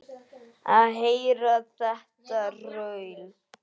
Að heyra þetta raul.